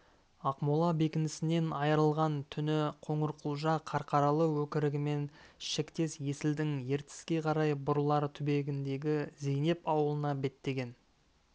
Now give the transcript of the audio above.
ақмола бекінісінен айырылған түні қоңырқұлжа қарқаралы өкірігімен шектес есілдің ертіске қарай бұрылар түбегіндегі зейнеп ауылына беттеген